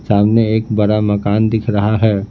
सामने एक बड़ा मकान दिख रहा है।